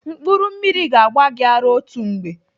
Mkpụrụ mmiri ga-agba gị ara otu mgbe.